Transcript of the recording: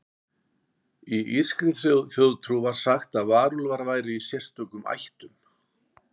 Í írskri þjóðtrú var sagt að varúlfar væru í sérstökum ættum.